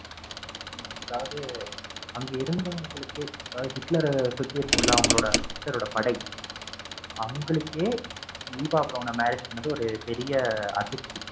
அதாவது அங்க இருந்தவங்களுக்கே அதாவது ஹிட்லர சுத்தி இருக்கும்ல அவங்களோட ஹிட்லரோட படை அவங்களுக்கே ஈவா பிரௌனை marriage பண்ணது ஒரு பெரிய அதிர்ச்சி.